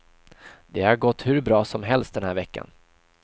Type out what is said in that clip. Det har gått hur bra som helst den här veckan.